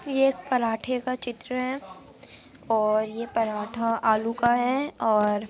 ये एक पराठे का चित्र है और ये पराठा आलू का है और --